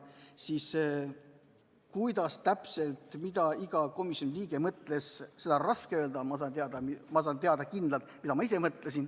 Seda, kuidas täpselt ja mida iga komisjoni liige mõtles, on raske öelda, aga ma tean kindlalt, mida ma ise mõtlesin.